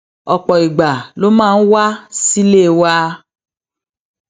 òpò ìgbà ló máa ń wá sílé wa